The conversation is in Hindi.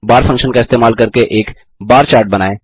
bar फंक्शन का इस्तेमाल करके एक बार चार्ट बनाएँ